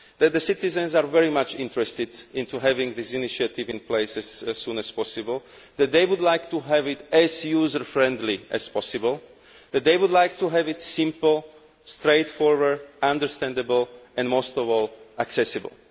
That citizens are very much interested in having this initiative in place as soon as possible, that they would like to have it as user friendly as possible, that they would like to have it simple, straightforward, understandable and, most of all, accessible.